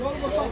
Yolu boş qoy.